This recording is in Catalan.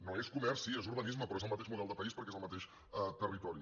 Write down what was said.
no és comerç sí és urbanisme però és el mateix model de país perquè és el mateix territori